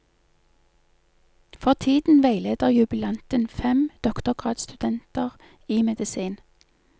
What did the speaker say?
For tiden veileder jubilanten fem doktorgradsstudenter i medisin.